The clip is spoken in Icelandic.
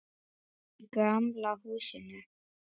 Í gamla húsinu.